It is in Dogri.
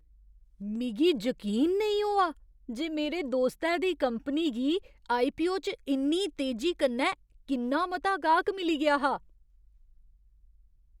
मिगी जकीन नेईं होआ जे मेरे दोस्तै दी कंपनी गी आईपीओ च इन्नी तेजी कन्नै किन्ना मता गाह्क मिली गेआ हा।